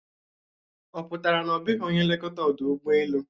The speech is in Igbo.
Ọ pụtara na ọ bụghị onye nlekọta ọdụ ụgbọelu?